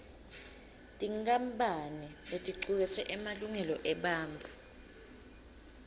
tinkampane leticuketse emalungelo ebantfu